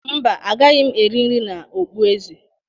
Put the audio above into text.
Mba, agaghị m eri nri na okpueze.